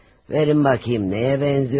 Verin baxım, nəyə oxşayırmış.